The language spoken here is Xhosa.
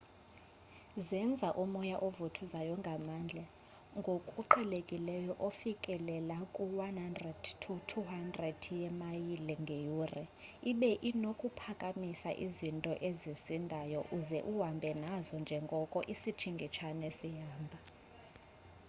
zenza umoya ovuthuza ngamandla ngokuqhelekileyo ofikelela ku-100-200 wemaliye ngeyure ibe unokuphakamisa izinto ezisindayo uze uhambe nazo njengoko isitshingitshane sihamba